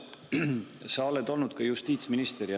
Urmas, sa oled olnud ka justiitsminister.